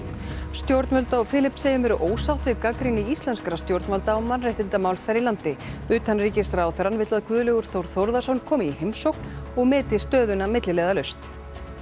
stjórnvöld á Filippseyjum eru ósátt við gagnrýni íslenskra stjórnvalda á mannréttindamál þar í landi utanríkisráðherrann vill að Guðlaugur Þór Þórðarson komi í heimsókn og meti stöðuna milliliðalaust